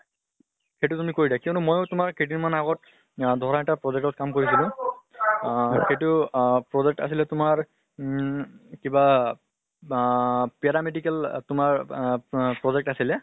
সেইটো তুমি কৰি দিয়া কিয়্নো ময়ো তোমাৰ কেই দিন মান আগত আহ ধৰা এটা project ত কাম কৰি আছিলো। আহ সেইটো project আছিলে তোমাৰ উম কিবা বাহ paramedical তোমাৰ আহ মাহ project আছিলে।